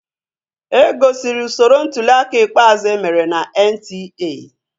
E gosiri usoro ntuliaka ikpeazụ emere na NTA